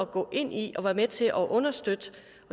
gå ind i og være med til at understøtte